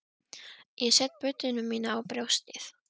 Ég set budduna mína á brjóstið.